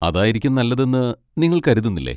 അതായിരിക്കും നല്ലതെന്ന് നിങ്ങൾ കരുതുന്നില്ലേ.